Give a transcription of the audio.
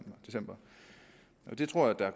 december det tror jeg